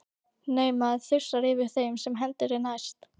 Nei, maður þusar yfir þeim sem hendi er næst.